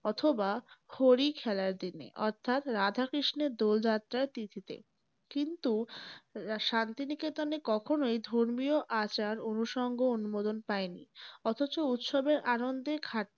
অথবা হোরি খেলার দিনে অর্থাৎ রাধা কৃ্ষ্ণের দোল যাত্রার তিথিতে । কিন্তু শান্তি নিকেতনে কখনই ধর্মীয় আচার, অনুসঙ্গ অনুমোদন পায়নি । অথচ উৎসবের আনন্দের ঘাটতি ও